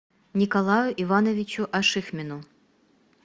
николаю ивановичу ашихмину